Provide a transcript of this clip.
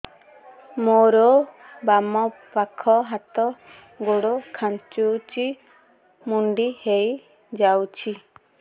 ମୋର ବାମ ପାଖ ହାତ ଗୋଡ ଖାଁଚୁଛି ମୁଡି ହେଇ ଯାଉଛି